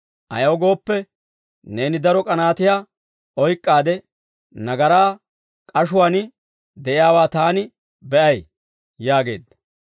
Ayaw gooppe, neeni daro k'anaatiyaa oyk'k'aade nagaraa k'ashuwaan de'iyaawaa taani be'ay» yaageedda.